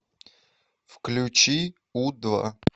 включи у два